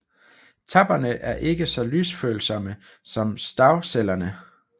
Tappene er ikke så lysfølsomme som stavcellerne